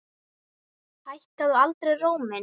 Hækkaði aldrei róminn.